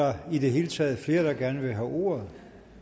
er der i det hele taget flere der gerne vil have ordet